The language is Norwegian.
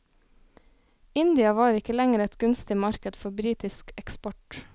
India var ikke lenger et gunstig marked for britisk eksport.